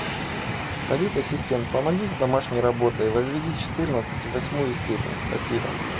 салют ассистент помоги с домашней работой возведи четырнадцать в восьмую степень спасибо